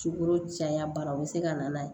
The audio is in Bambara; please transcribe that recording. Sukoro caya baara o be se ka na n'a ye